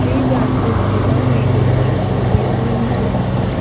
Tree branches without many leaves visible on the left side.